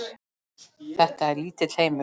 Þetta er lítill heimur!